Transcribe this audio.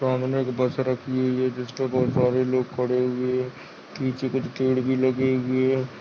सामने एक बस रखी हुई है जिसमें बहुत सारे लोग खड़े हुए हैं पीछे कुछ पेड़ भी लगे हुए हैं।